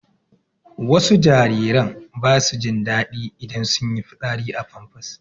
Wasu jariran ba su jin daɗi idan sun yi fitsari a famfas